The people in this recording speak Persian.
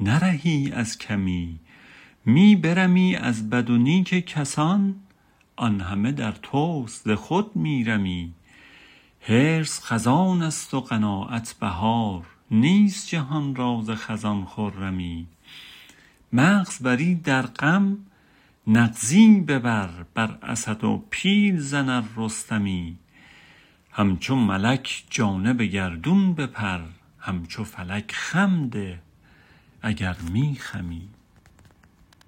نرهی از کمی می برمی از بد و نیک کسان آن همه در تست ز خود می رمی حرص خزانست و قناعت بهار نیست جهان را ز خزان خرمی مغز بری در غم نغزی ببر بر اسد و پیل زن ار رستمی همچو ملک جانب گردون بپر همچو فلک خم ده اگر می خمی